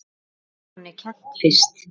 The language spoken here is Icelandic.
Hvað er manni kennt fyrst?